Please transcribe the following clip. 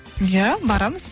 иә барамыз